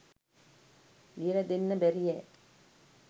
ලියල දෙන්න බැරියැ.